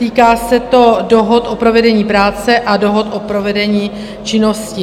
Týká se to dohod o provedení práce a dohod o provedení činnosti.